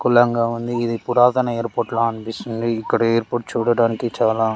కులంగా ఉంది ఇది పురాతన ఎయిర్పోర్ట్ లా అనిపిస్తుంది. ఇక్కడ ఎయిర్పోర్ట్ చూడడానికి చాలా--